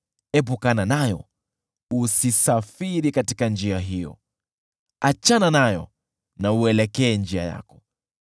Epukana nayo, usisafiri katika njia hiyo; achana nayo, na uelekee njia yako.